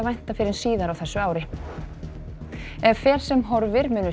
vænta fyrr en síðar á þessu ári ef fer sem horfir munu